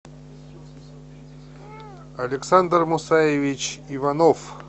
александр мусаевич иванов